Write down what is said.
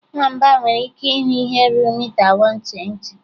Nwamba nwere ike ịhụ ihe ruru mita 120.